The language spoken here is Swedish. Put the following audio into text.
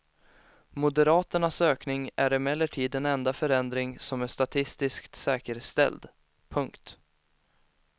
Moderaternas ökning är emellertid den enda förändringen som är statistiskt säkerställd. punkt